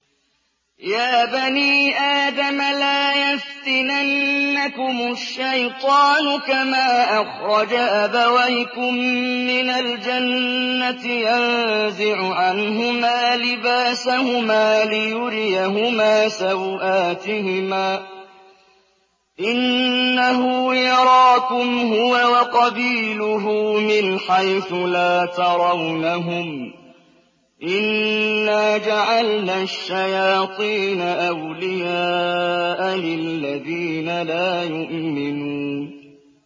يَا بَنِي آدَمَ لَا يَفْتِنَنَّكُمُ الشَّيْطَانُ كَمَا أَخْرَجَ أَبَوَيْكُم مِّنَ الْجَنَّةِ يَنزِعُ عَنْهُمَا لِبَاسَهُمَا لِيُرِيَهُمَا سَوْآتِهِمَا ۗ إِنَّهُ يَرَاكُمْ هُوَ وَقَبِيلُهُ مِنْ حَيْثُ لَا تَرَوْنَهُمْ ۗ إِنَّا جَعَلْنَا الشَّيَاطِينَ أَوْلِيَاءَ لِلَّذِينَ لَا يُؤْمِنُونَ